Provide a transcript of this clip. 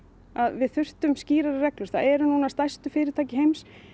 við þurftum skýrari reglur það eru stærtu fyrirtæki heims